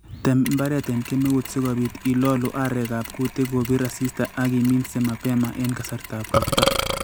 Tem mbaret en kemeut sikobiit ilolu arekab kutik kobir asista ak iminse mapema en kasartab ropta